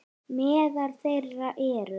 Meðal þeirra eru